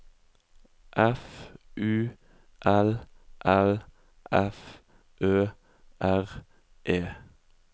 F U L L F Ø R E